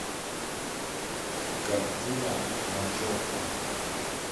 картина ночевка